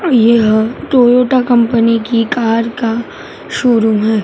यह Toyota company की car का शोरूम है।